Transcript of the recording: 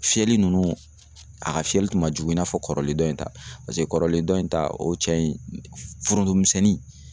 Fiyɛli nunnu a ka fiyɛli tun ma jugu i n'a fɔ kɔrɔlen dɔ in ta paseke kɔrɔlen dɔ in ta o ye cɛ in foronto misɛnnin